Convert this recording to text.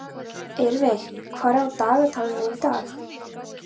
Eyveig, hvað er á dagatalinu í dag?